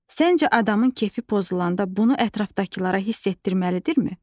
Səncə adamın kefi pozulanda bunu ətrafdakılara hiss etdirməlidirmi?